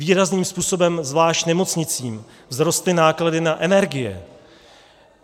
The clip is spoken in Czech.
Výrazným způsobem, zvlášť nemocnicím, vzrostly náklady na energie.